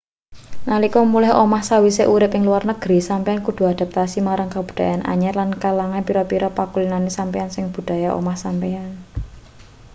nalika mulih omah sawise urip ing luar negri sampeyan kudu adaptasi marang kabudayan anyar lan kelangan pira-pira pakulinane sampeyan saka budaya omah sampeyan